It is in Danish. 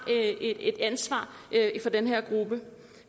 et ansvar for den her gruppe